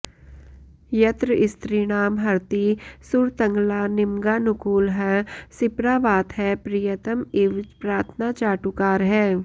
यत्र स्त्रीणां हरति सुरतग्लानिमङ्गानुकूलः सिप्रावातः प्रियतम इव प्रार्थनाचाटुकारः